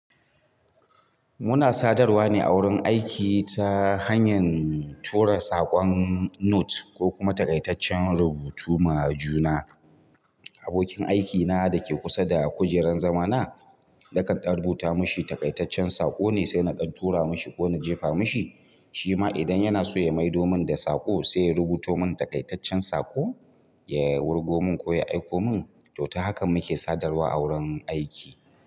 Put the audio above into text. Muna sadarwa ne a wurin aiki ta hanyar tura saƙon note ko kuma taƙaitaccen rubutu ma juna. Abokin aikina da ke kusa da kujeran zama na, nakan ɗan rubuta mashi takaitaccen saƙo ne sai na ɗan tura mashi ko na jefa mashi. Shi ma idan yana so ya maido mun da saƙo sai ya rubuto mun taƙaitaccen saƙo, ya wurgo mun ko ya aiko mun. To ta hakan muke sadarwa a wurin aiki.